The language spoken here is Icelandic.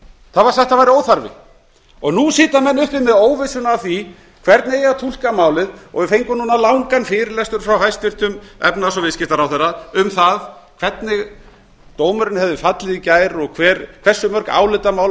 það var sagt að það væri óþarfi og nú sitja menn uppi með óvissuna af því hvernig eigi að túlka málið við fengum núna langan fyrirlestur frá hæstvirtum efnahags og viðskiptaráðherra um hvernig dómurinn hefði fallið í gær og hversu mörg álitamál